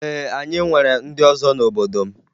Ee, anyị nwere ndị ọzọ n'obodo m